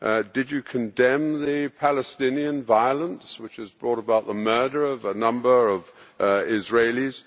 Did you condemn the Palestinian violence, which has brought about the murder of a number of Israelis?